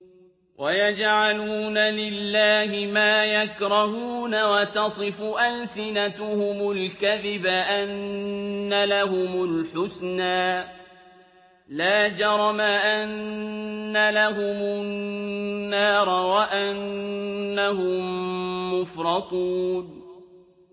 وَيَجْعَلُونَ لِلَّهِ مَا يَكْرَهُونَ وَتَصِفُ أَلْسِنَتُهُمُ الْكَذِبَ أَنَّ لَهُمُ الْحُسْنَىٰ ۖ لَا جَرَمَ أَنَّ لَهُمُ النَّارَ وَأَنَّهُم مُّفْرَطُونَ